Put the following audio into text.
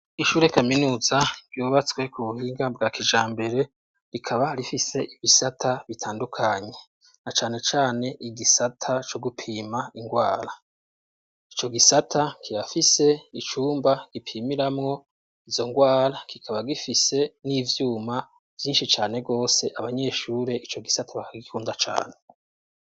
Ishure kaminuza ryubatswe ku buhiga bwa kijambere rikaba rifise ibisata bitandukanye, na cane cane igisata co gupima ingwara, ico gisata kirafise icumba gipimiramwo izo ngwara kikaba gifise n'ivyuma vyinshi cane gose abanyeshure ico gisata bakagikunda cane.